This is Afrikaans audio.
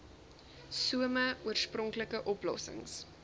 some oorspronklike oplossings